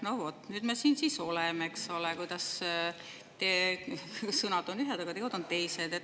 No vot, nüüd me siin siis oleme: teie sõnad on ühed, aga teod on teised.